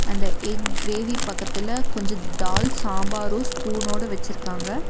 அந்த egg gravy பக்கத்துல கொஞ்ச தால் சாம்பாரு ஸ்பூனோட வெச்சிருக்காங்க.